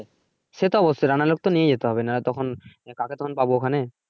সে তো অবশ্যই রান্নার লোক তো নিয়ে যেতে হবে নাহলে তখন কাকে তখন পাবো ওখানে